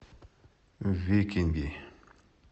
викинги